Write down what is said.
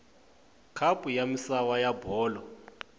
khapu ya misava ya bolo